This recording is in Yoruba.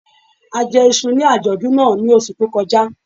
A jẹ iṣu ní àjọ̀dún náà ní oṣù tó kọjá